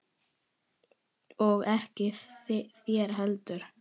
Og ekki þér heldur!